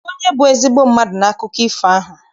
Kedụ onye bụ ezigbo mmadụ n'akụkọ ifo ahụ?